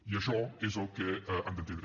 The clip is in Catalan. i això és el que han d’entendre